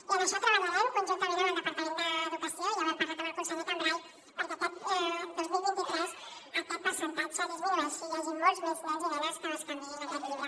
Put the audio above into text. i en això treballarem conjuntament amb el departament d’educació ja ho hem parlat amb el conseller cambray perquè aquest dos mil vint tres aquest percentatge disminueixi i hi hagi molts més nens i nenes que bescanviïn aquest llibre